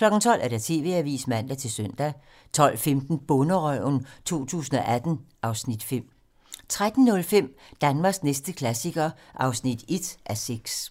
(8:25) 12:00: TV-Avisen (man-søn) 12:15: Bonderøven 2018 (Afs. 5) 13:05: Danmarks næste klassiker (1:6)